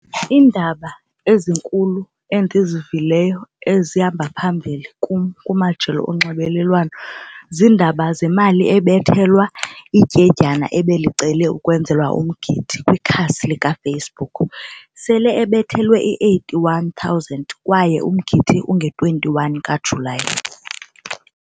Iindaba ezinkulu endizivileyo ezihamba phambili kum kumajelo onxibelelwano ziindaba zemali ebethelwa ityendyana ebelicele ukwenzelwa umgidi kwikhasi likaFacebook. Sele ebethelelwe i-eighty-one thousand kwaye umgidi unge-twenty one kaJulayi.